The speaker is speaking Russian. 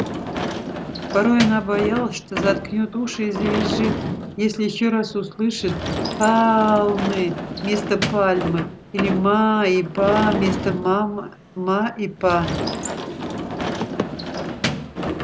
порой она боялась что заткнёт уши и завизжит если ещё раз услышит палмы вместо пальмы или ма и па вместо мама ма и па